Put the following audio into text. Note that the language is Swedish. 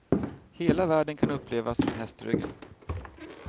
Hela världen kan upplevas från hästryggen.